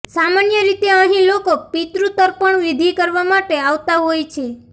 સામાન્ય રીતે અહીં લોકો પિતૃ તર્પણ વિધિ કરવા માટે આવતા હોય છે